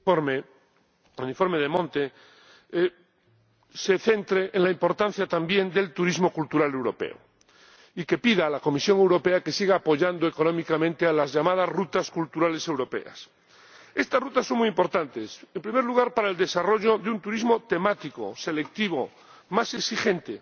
Señora Presidenta, es de agradecer que el informe De Monte se centre en la importancia también del turismo cultural europeo y que pida a la Comisión Europea que siga apoyando económicamente a las llamadas rutas culturales europeas. Estas rutas son muy importantes, en primer lugar, para el desarrollo de un turismo temático, selectivo, más exigente,